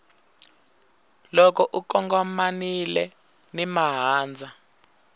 loko u kongomanile na mahandza